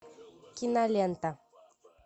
кинолента